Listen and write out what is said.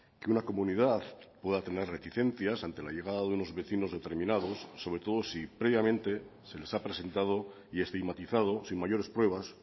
que una comunidad pueda tener reticencias ante la llegada de unos vecinos determinados sobre todo si previamente se les ha presentado y estigmatizado sin mayores pruebas